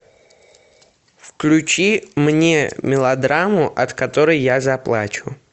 включи мне мелодраму от которой я заплачу